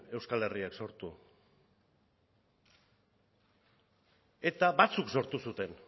euskal herriak sortu eta batzuk sortu zuten